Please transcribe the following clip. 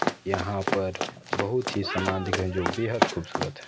यहाँ पर बहुत ही सामान दिख रहे जो बेहद खूबसूरत है।